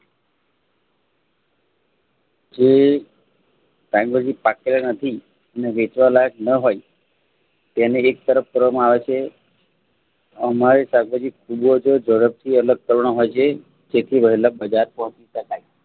જે શાકભાજી પાત્ર નથી અને વેચવા લાયક ન હોય તેને એક તરફ કરવામાં આવે છે અમારે શાકભાજી ઝડપથી અલગ કરવા ખેતી વળેલા બજાર પહોચી શકાય